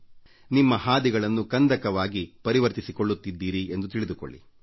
ಅಂದರೆ ನೀವು ನಿಮ್ಮ ಹಾದಿಗಳನ್ನು ಕಂದಕವಾಗಿ ಪರಿವರ್ತಿಸಿಕೊಳ್ಳುತ್ತಿದ್ದೀರಿ ಎಂದು ತಿಳಿದುಕೊಳ್ಳಿ